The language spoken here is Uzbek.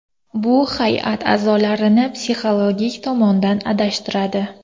Bu hay’at a’zosini psixologik tomondan adashtiradi.